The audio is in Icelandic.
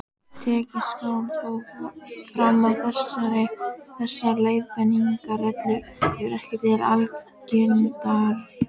Tekið skal þó fram að þessar leiðbeiningarreglur eru ekki algildar.